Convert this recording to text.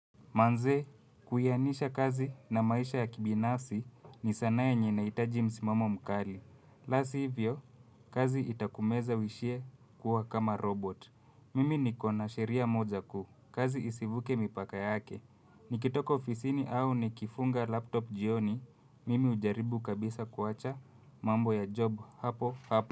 Manze, kuiainisha kazi na maisha ya kibinafsi ni sana yenye inahitaji msimamo mkali. La si hivyo, kazi itakumeza uishie kuwa kama robot. Mimi niko na sheria moja ku, kazi isivuke mipaka yake. Nikitoka ofisini au nikifunga laptop jioni, mimi ujaribu kabisa kuwacha mambo ya job hapo hapo.